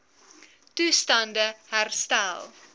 toestand e herstel